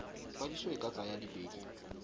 kwadiso e ka tsaya dibeke